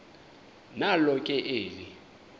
nalo ke eli